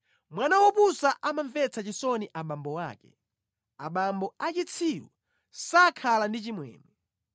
Mwana wopusa amamvetsa chisoni abambo ake, abambo a chitsiru sakhala ndi chimwemwe.